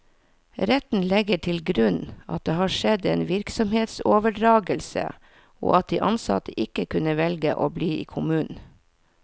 Retten legger til grunn at det har skjedd en virksomhetsoverdragelse, og at de ansatte ikke kunne velge å bli i kommunen.